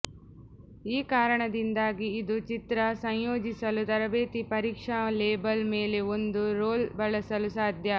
ಈ ಕಾರಣದಿಂದಾಗಿ ಇದು ಚಿತ್ರ ಸಂಯೋಜಿಸಲು ತರಬೇತಿ ಪರೀಕ್ಷಾ ಲೇಬಲ್ ಮೇಲೆ ಒಂದು ರೋಲ್ ಬಳಸಲು ಸಾಧ್ಯ